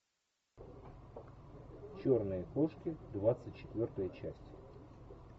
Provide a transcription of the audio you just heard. черные кошки двадцать четвертая часть